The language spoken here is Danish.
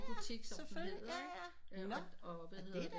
Butik som den hedder ikke og øh hvad hedder det